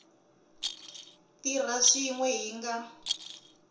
tirha swin we hi nga